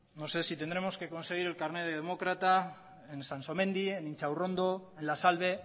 no sé si tendremos que conseguir el carné de demócrata en sansomendi en intxaurrondo en la salve